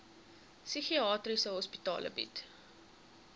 psigiatriese hospitale bied